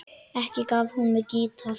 Ekki gaf hún mér gítar.